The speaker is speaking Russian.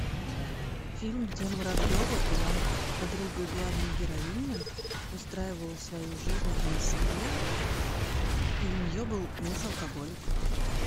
фильм где муравьева была подругой главной героини устраивала свою жизнь в москве и у нее был муж алкоголик